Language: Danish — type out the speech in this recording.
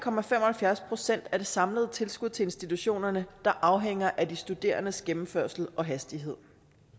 procent af det samlede tilskud til institutionerne der afhænger af de studerendes gennemførelse og hastighed